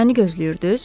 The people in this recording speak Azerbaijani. Məni gözləyirdiz?